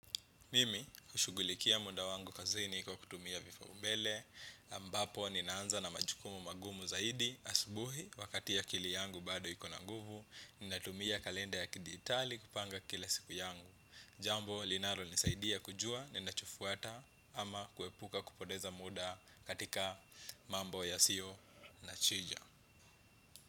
Mimi hushughulikia muda wangu kazini kwa kutumia vipaumbele ambapo ninaanza na majukumu magumu zaidi asubuhi wakati akili yangu bado iko na nguvu. Ninatumia kalenda ya kidijitali kupanga kila siku yangu. Jambo linalonisaidia kujua ninachofuata ama kuepuka kupoteza muda katika mambo yasiyo na chija.